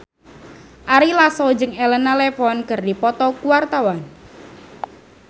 Ari Lasso jeung Elena Levon keur dipoto ku wartawan